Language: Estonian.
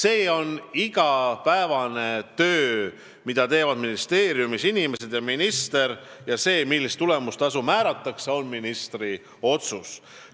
Jutt on igapäevasest tööst, mida teevad ministeeriumi inimesed ja minister, ning see, millist tulemustasu kellelegi määratakse, on ministri otsus.